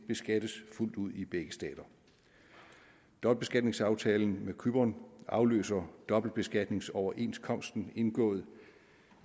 beskattes fuldt ud i begge stater dobbeltbeskatningsaftalen med cypern afløser dobbeltbeskatningsoverenskomsten indgået